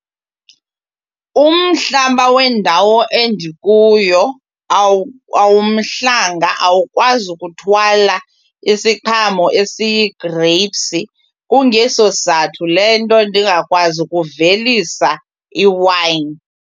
Umhlaba wendawo endikuyo awumhlanga awukwazi kuthwala isiqhamo esiyi-grapes. Kungeso sizathu le nto ndingakwazi ukuvelisa iwayini.